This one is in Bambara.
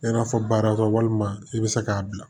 I n'a fɔ baarakɛ walima i bɛ se k'a bila